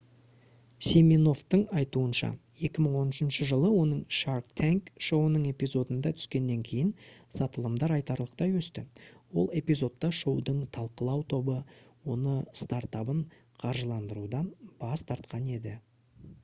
симиновтың айтуынша 2013 жылы оның shark tank шоуының эпизодында түскеннен кейін сатылымдар айтарлықтай өсті ол эпизодта шоудың талқылау тобы оны стартабын қаржыландырудан бас тартқан еді